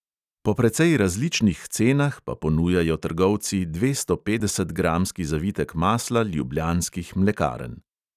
Po precej različnih cenah pa ponujajo trgovci dvestopetdesetgramski zavitek masla ljubljanskih mlekarn.